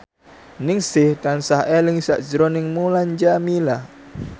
Ningsih tansah eling sakjroning Mulan Jameela